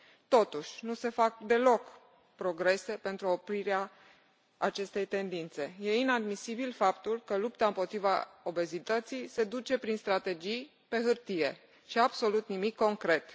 Totuși, nu se fac deloc progrese pentru oprirea acestei tendințe. E inadmisibil faptul că lupta împotriva obezității se duce prin strategii pe hârtie absolut nimic concret.